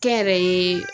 Kɛ n yɛrɛ ye